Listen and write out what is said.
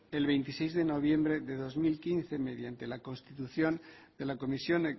el veintiséis de noviembre de dos mil quince mediante la construcción de la comisión